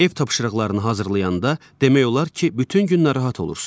Ev tapşırıqlarını hazırlayanda demək olar ki, bütün gün narahat olursuz.